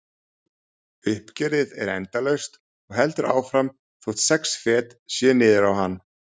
Uppgjörið er endalaust og heldur áfram þótt sex fet séu niður á hann.